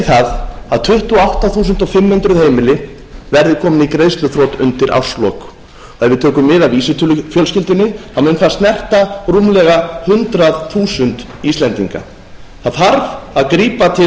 það að tuttugu og átta þúsund fimm hundruð heimili verði komin í greiðsluþrot undir árslok ef við tökum mið af vísitölufjölskyldunni mun það snerta rúmlega hundrað þúsund íslendinga það þarf að grípa til